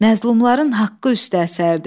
Məzlumların haqqı üstə əsərdi.